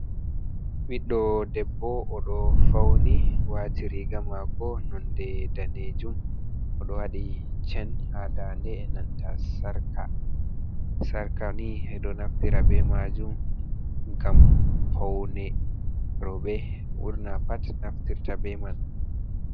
Biɗdo debbo o do fauni wati riga mako nonde danejum. Odo wadi chen ha ndande e nanta sarka. Sarkani e do naftira be majum ngam faune. Robeni burnafu naftirta be man.